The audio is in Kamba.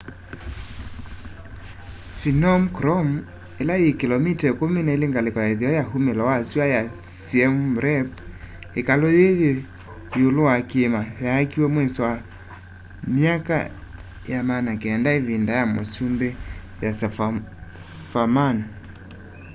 phnom krom ila yi kilomita 12 ngaliko ya itheo ya umilo wa sua ya siem reap ikalu yii yi iulu wa kiima yaakiwe mwiso wa myaka ya 900 ivinda ya musumbi yasovarman